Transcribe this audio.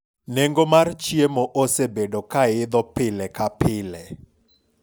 nengo mar chiemo osebedo kaidho pile ka pile